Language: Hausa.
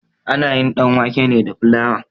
Ana yin ɗanwake ne da filawa.